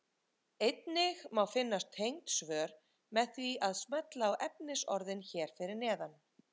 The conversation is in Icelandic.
Einnig má finna tengd svör með því að smella á efnisorðin hér fyrir neðan.